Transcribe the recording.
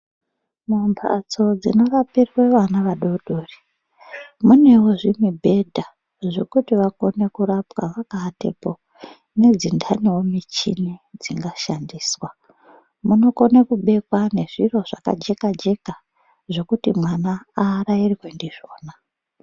Mumbatso dzinorapirwe vana vadodori munewo zvimubhedha zvekuti vakone kurapwa vakaatepo nedzintaniwo muchini dzingashandiswa. Munokone kubekwa zviro zvakajeka jeka zvekuti mwana aarairwe ndizvona.